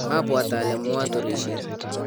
mabwaat ale muaturisie